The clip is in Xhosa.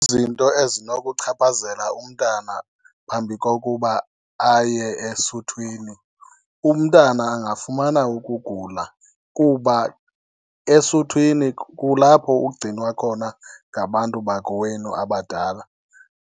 Zinto ezinokuchaphazela umntana phambi kokuba aye esuthwini, umntana angafumana ukugula kuba esuthwini kulapho ugcinwa khona ngabantu bakowenu abadala.